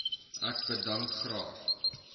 ek bedank graag